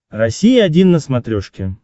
россия один на смотрешке